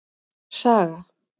Saga